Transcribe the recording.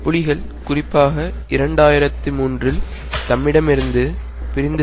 புலிகள் குறிப்பாக இரண்டு ஆயிரத்தி மூன்றுஇல் தம்மிடமிருந்து பிரிந்து